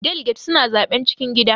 Daliget suna zaɓen cikin gida.